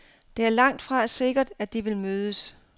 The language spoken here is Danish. Det er langtfra sikkert, at de vil mødes.